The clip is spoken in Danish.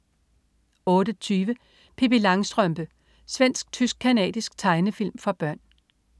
08.20 Pippi Langstrømpe. Svensk-tysk-canadisk tegnefilm for børn